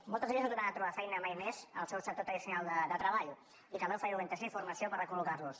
moltes d’elles no tornaran a trobar feina mai més al seu sector tradicional de treball i caldrà oferir orientació i formació per recol·locar los